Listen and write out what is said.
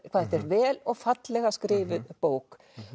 hvað þetta er vel og fallega skrifuð bók